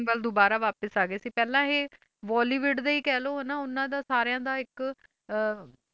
ਵੱਲ ਦੁਬਾਰਾ ਵਾਪਿਸ ਆ ਗਏ ਸੀ ਪਹਿਲਾਂ ਇਹ ਬੋਲੀਵੁਡ ਦਾ ਹੀ ਕਹਿ ਲਓ ਹਨਾ ਉਹਨਾਂ ਦਾ ਸਾਰਿਆਂ ਦਾ ਇੱਕ ਅਹ